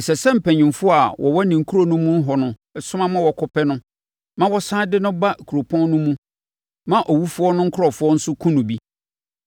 ɛsɛ sɛ mpanimfoɔ a wɔwɔ ne kuro no mu hɔ no soma ma wɔkɔpɛ no ma wɔsane de no ba kuropɔn no mu ma owufoɔ no nkurɔfoɔ nso kum no bi.